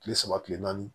Kile saba kile naani